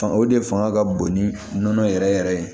Fanga o de fanga ka bon ni nɔnɔ yɛrɛ yɛrɛ ye